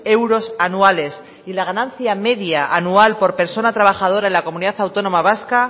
euros anuales y la ganancia media anual por persona trabajadora en la comunidad autónoma vasca